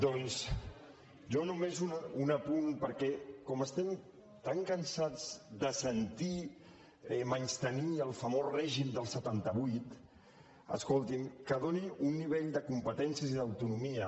doncs jo només un apunt perquè com estem tan cansats de sentir menystenir el famós règim del setanta vuit escoltin que doni un nivell de competències i d’autonomia